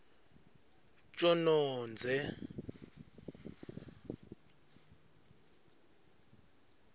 tjonondze